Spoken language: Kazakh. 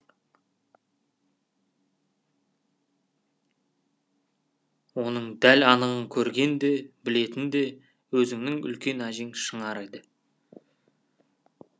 оның дәл анығын көрген де білетін де өзіңнің үлкен әжең шынар еді